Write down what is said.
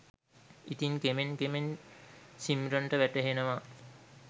ඉතින් කෙමෙන් කෙමෙන් සිම්රන්ට වැටහෙනවා